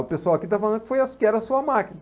O pessoal aqui está falando que foi, que era a sua máquina.